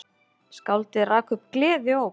Skáldið rak upp gleðióp.